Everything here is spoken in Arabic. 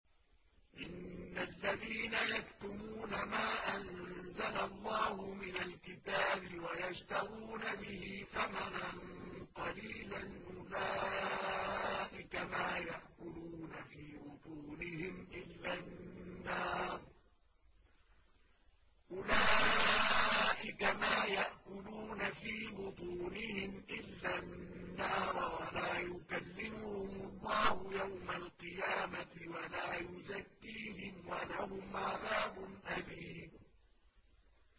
إِنَّ الَّذِينَ يَكْتُمُونَ مَا أَنزَلَ اللَّهُ مِنَ الْكِتَابِ وَيَشْتَرُونَ بِهِ ثَمَنًا قَلِيلًا ۙ أُولَٰئِكَ مَا يَأْكُلُونَ فِي بُطُونِهِمْ إِلَّا النَّارَ وَلَا يُكَلِّمُهُمُ اللَّهُ يَوْمَ الْقِيَامَةِ وَلَا يُزَكِّيهِمْ وَلَهُمْ عَذَابٌ أَلِيمٌ